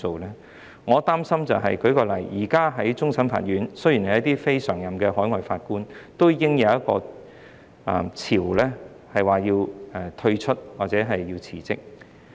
令我擔心的是，現時在終審法院，雖然是非常任的海外法官，已經出現一個退出或辭職潮。